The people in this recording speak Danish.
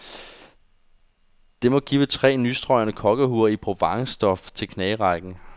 Det må give tre nystrøgne kokkehuer i provencestof til knagerækken.